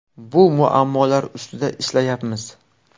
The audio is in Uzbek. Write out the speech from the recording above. Bu muammolar ustida ishlayapmiz.